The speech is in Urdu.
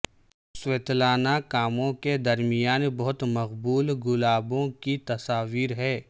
سویتلانہ کاموں کے درمیان بہت مقبول گلابوں کی تصاویر ہیں